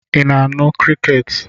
Ị na-anụ crickets?